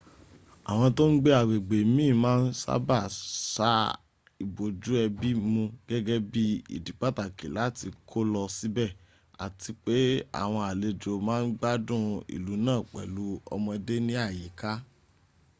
àwọn tó n gbé àwọn agbègbè miin ma n sábà sa ibójú ẹbí mu gẹ́gẹ́ bí ìdí pàtàkì látí kó lọ síbẹ̀ ati pé àwọn àlejò ma ń gbádùn ìlú náà pẹ̀lú ọmọdé ní àyíká